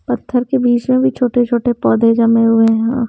पत्थर के बीच में भी छोटे छोटे पौधे जमे हुए हैं।